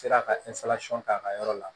Sera ka k'a ka yɔrɔ la